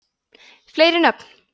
fleiri nöfn